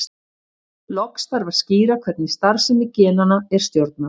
Loks þarf að skýra hvernig starfsemi genanna er stjórnað.